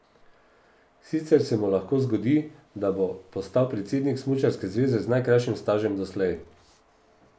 Sicer se mu lahko zgodi, da bo postal predsednik smučarske zveze z najkrajšim stažem doslej.